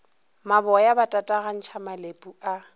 maboya ba tatagantšha malepu a